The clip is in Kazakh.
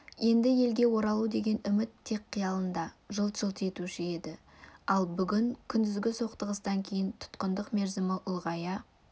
енді елге оралу деген үміт тек қиялында жылт-жылт етуші еді ал бүгін күндізгі соқтығыстан кейін тұтқындық мерзім ұлғая